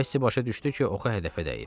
Kassi başa düşdü ki, oxu hədəfə dəyib.